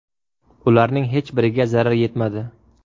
Ularning hech biriga zarar yetmadi.